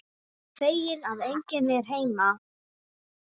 Feginn að enginn er heima.